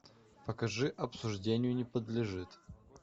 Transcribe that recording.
покажи обсуждению не подлежит